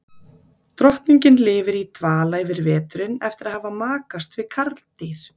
Drottningin lifir í dvala yfir veturinn eftir að hafa makast við karldýr.